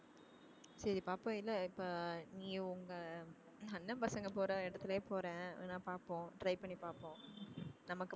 சரி பாப்போம் இல்ல இப்ப நீயும் உங்க அண்ணன் பசங்க போற இடத்துலயே போறேன் நா பார்ப்போம் try பண்ணி பார்ப்போம் நமக்கு